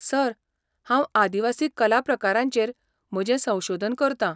Sir, हांव आदिवासी कला प्रकारांचेर म्हजें संशोधन करतां.